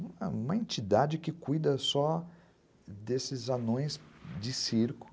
Ah, uma entidade que cuida só desses anões de circo.